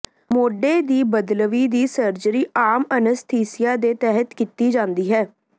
ਮੋਢੇ ਦੀ ਬਦਲਵੀਂ ਦੀ ਸਰਜਰੀ ਆਮ ਅਨੱਸਥੀਸੀਆ ਦੇ ਤਹਿਤ ਕੀਤੀ ਜਾਂਦੀ ਹੈ